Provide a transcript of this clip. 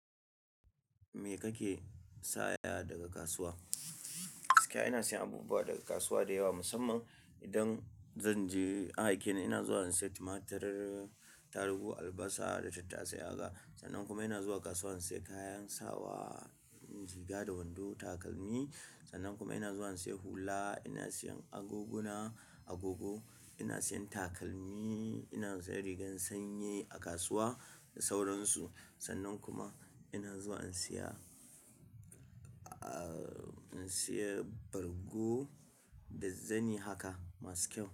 Me kake saya daga kasuwa? Gaskiya ina siyan abubuwa daga kasuwa da yawa musamman idan zan je an aike ni ina zuwa in saya tumatur, tarugu, albasa da tattasai haka. Sannan kuma ina zuwa kasuwa in saya kayan sawa, riga da wando, takalmi. Sannan kuma ina zuwa in saya hula, ina siyan agoguna, agogo, ina siyan takalmi, ina siyan rigar sanyi a kasuwa da sauransu. Sannan kuma ina zuwa in saya, ah, in saya bargo da zani haka masu kyau.